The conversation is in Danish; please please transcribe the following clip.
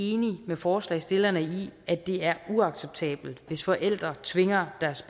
enig med forslagsstillerne i at det er uacceptabelt hvis forældre tvinger deres